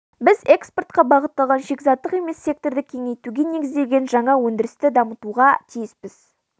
біз экспортқа бағытталған шикізаттық емес секторды кеңейтуге негізделген жаңа өндірісті дамытуға тиіспіз